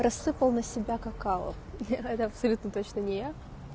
рассыпал на себя какао это абсолютно точно не я